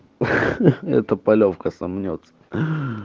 ха-ха эта полёвка сомнётся